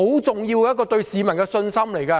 這對市民的信心是很重要的。